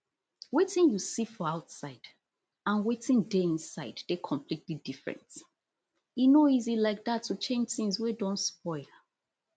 wetin you see for outside and wetin dey inside dey completely different e no easy like dat to change tins wey don spoil